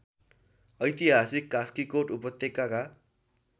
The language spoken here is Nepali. ऐतिहासिक कास्कीकोट उपत्यकाका